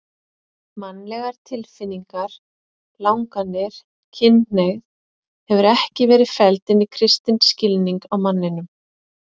Mannlegar tilfinningar, langanir, kynhneigð hefur ekki verið felld inn í kristinn skilning á manninum.